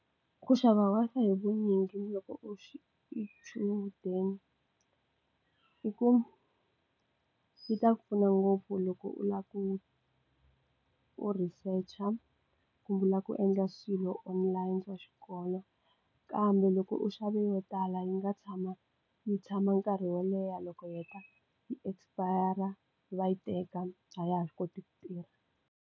Ku xava Wi-Fi hi vunyingi loko u xi xichudeni i ku yi ta ku pfuna ngopfu loko u lava ku u researcher a ku vula ku endla swilo online wa xikolo kambe loko u xave yo tala yi nga tshama yi tshama nkarhi wo leha loko heta yi expire va yi teka a ya ha swi koti ku tirha.